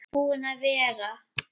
Búinn að vera.